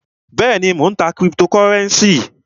Bẹ́èni, Mó ń tá criptocurenci.